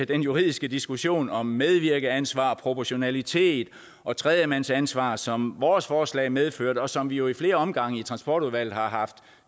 den juridiske diskussion om medvirkeansvar proportionalitet og tredjemandsansvar som vores forslag medførte og som vi jo i flere omgange i transportudvalget har haft